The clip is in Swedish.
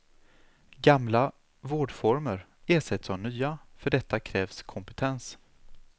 Gamla vårdformer ersätts av nya, för detta krävs kompetens.